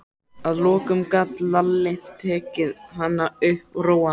Að lokum gat Lalli tekið hana upp og róað hana.